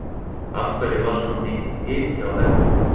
Af hverju var svona mikill hiti á vellinum?